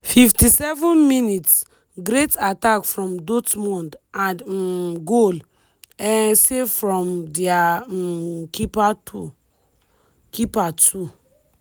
fifty seven minutes- great attack from dortmund and um goal um save from dia um keeper to keeper too.